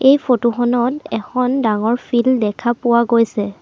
এই ফটো খনত এখন ডাঙৰ ফিল্ড দেখা পোৱা গৈছে।